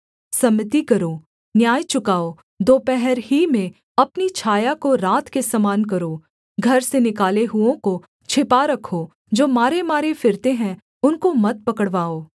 सम्मति करो न्याय चुकाओ दोपहर ही में अपनी छाया को रात के समान करो घर से निकाले हुओं को छिपा रखो जो मारेमारे फिरते हैं उनको मत पकड़वाओ